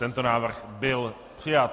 Tento návrh byl přijat.